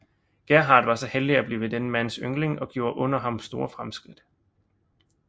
Gerhard var så heldig at blive denne mands yndling og gjorde under ham store fremskridt